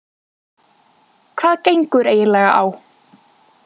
Hvað gengur eiginlega á?